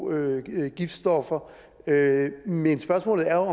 giftstoffer men spørgsmålet er